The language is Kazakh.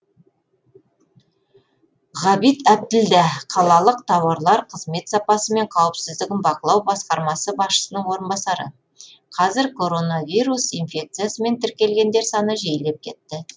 ғабит әбділдә қалалық тауарлар қызмет сапасы мен қауіпсіздігін бақылау басқармасы басшысының орынбасары қазір коронавирус инфекциясымен тіркелгендер саны жиілеп кетті